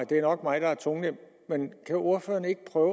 det er nok mig der er tungnem men kan ordføreren ikke prøve